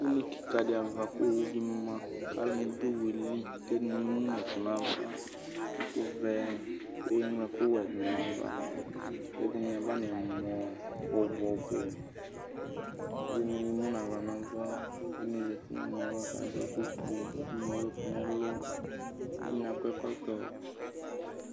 une kika di'ava ku owu di maku aluni du oowu yɛ liku ɛdini eŋu nu ɛkʋ nu avaɛku vɛ ku eŋlo ɛkuwɛ du nu ayiʋ ava ku ɛdini aʋa nu ɛmɔ ɔbu ɔbuɛdini emu nu aɣla nu ava ɛdini zati nu ɛmɔ yɛ'ava kadu ɛku fueku ɛdini ewu ɛku nu ɛlu ku ɛdini akɔ ɛkɔtɔ